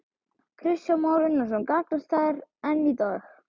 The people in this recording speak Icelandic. Kristján Már Unnarsson: Gagnast þær enn í dag?